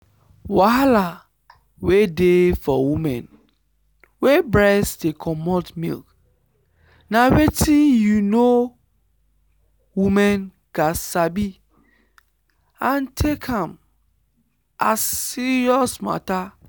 wahala wey dey for women wey breast dey comot milk na wetin you know women gat sabi and take am as serious matter